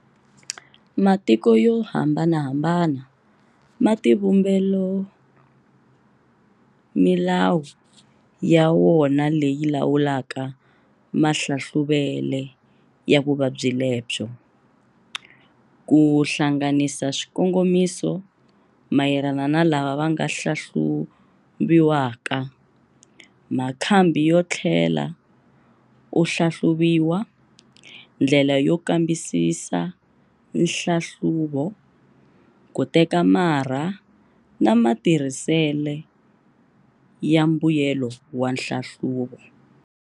Matiko yo hambanahambana ma tivumbelo milawu ya wona leyi lawulaka mahlahluvele ya vuvabyi lebyo, ku hlanganisa swikongomiso mayelana na lava vanga hlahluviwaka, makhambi yo thlela u hlahluviwa, ndlela yo kambisisa nhlahluvo, kuteka marha na matirhisele ya mbuyelo wa nhlahluvo.